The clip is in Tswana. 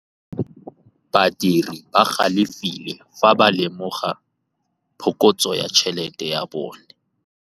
Badiri ba galefile fa ba lemoga phokotsô ya tšhelête ya bone.